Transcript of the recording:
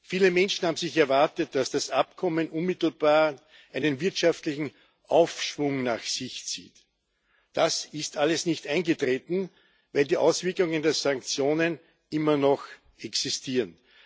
Viele Menschen haben sicher erwartet, dass das Abkommen unmittelbar einen wirtschaftlichen Aufschwung nach sich zieht. Das ist alles nicht eingetreten, weil die Auswirkungen der Sanktionen immer noch existieren.